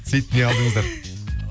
сөйтпей не алдыңыздар